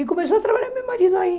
E começou a trabalhar meu marido aí.